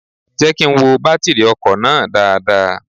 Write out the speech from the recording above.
Jẹ́ kí n wo bátírì ọkọ̀ náà dáadáa.